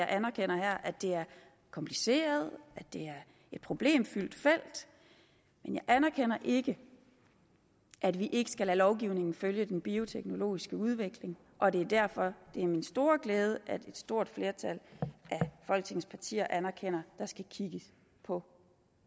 anerkender at det er kompliceret og at det er et problemfyldt felt men jeg anerkender ikke at vi ikke skal lade lovgivningen følge den bioteknologiske udvikling og det er derfor det er min store glæde at et stort flertal af folketingets partier anerkender at der skal kigges på